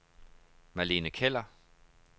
Malene Keller